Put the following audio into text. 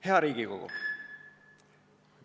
Hea Riigikogu!